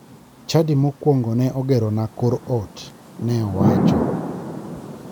"Chadi makuongo ne ogerona kor ot" ne owacho